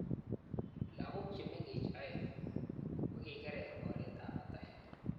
Lagok chemengech aeng kukikerer oretab batet.